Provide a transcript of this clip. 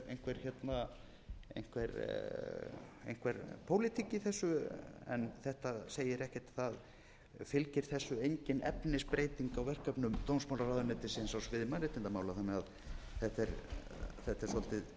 er kannski einhver pólitík í þessu en þetta segir ekkert það fylgir þessu engin efnisbreyting á verkefnum dómsmálaráðuneytisins á sviði mannréttindamála þannig að þetta er svolítið